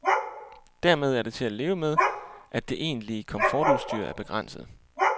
Dermed er det til at leve med, at det egentlige komfortudstyr er begrænset.